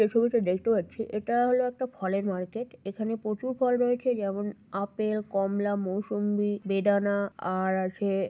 এই ছবিতে দেখতে পাচ্ছি এটা হলো একটা ফলের মার্কেট । এখানে প্রচুর ফল রয়েছে যেমন আপেল কমলা মৌসম্বি বেদানা আর আছে।